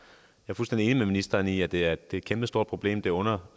jeg er fuldstændig enig med ministeren i at det er et kæmpestort problem og